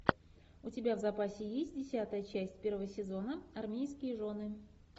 у тебя в запасе есть десятая часть первого сезона армейские жены